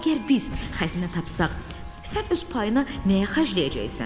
Əgər biz xəzinə tapsaq, sən öz payına nəyə xərcləyəcəksən?